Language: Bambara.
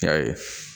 Yaye